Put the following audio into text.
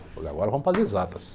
Falei agora vamos para as exatas.